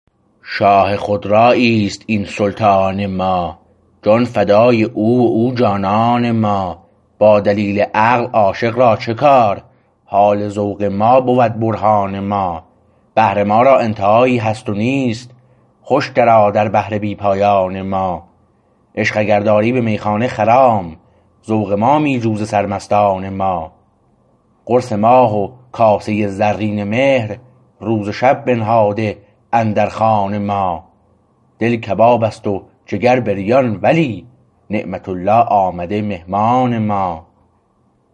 شاه خودرایی است این سلطان ما جان فدای او و او جانان ما با دلیل عقل عاشق را چه کار حال ذوق ما بود برهان ما بحر ما را انتهایی هست نیست خوش درآ در بحر بی پایان ما عشق اگر داری به میخانه خرام ذوق ما می جو ز سرمستان ما قرص ماه و کاسه زرین مهر روز و شب بنهاده اندر خوان ما دل کبابست و جگر بریان ولی نعمت الله آمده مهمان ما